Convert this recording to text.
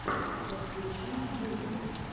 подключи музыка